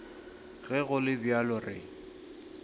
ge go le bjalo re